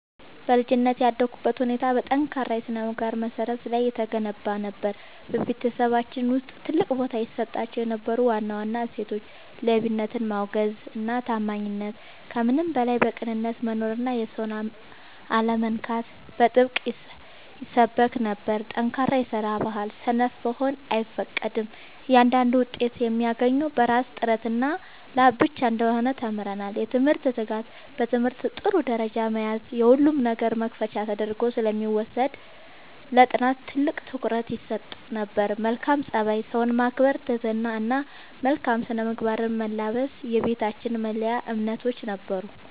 በልጅነቴ ያደግኩበት ሁኔታ በጠንካራ የሥነ-ምግባር መሠረት ላይ የተገነባ ነበር። በቤተሰባችን ውስጥ ትልቅ ቦታ ይሰጣቸው የነበሩ ዋና ዋና እሴቶች፦ ሌብነትን ማውገዝና ታማኝነት፦ ከምንም በላይ በቅንነት መኖርና የሰውን አለመንካት በጥብቅ ይሰበክ ነበር። ጠንካራ የስራ ባህል፦ ሰነፍ መሆን አይፈቀድም፤ እያንዳንዱ ውጤት የሚገኘው በራስ ጥረትና ላብ ብቻ እንደሆነ ተምረናል። የትምህርት ትጋት፦ በትምህርት ጥሩ ደረጃ መያዝ የሁሉም ነገር መክፈቻ ተደርጎ ስለሚወሰድ ለጥናት ትልቅ ትኩረት ይሰጥ ነበር። መልካም ፀባይ፦ ሰውን ማክበር፣ ትህትና እና መልካም ስነ-ምግባርን መላበስ የቤታችን መለያ እምነቶች ነበሩ።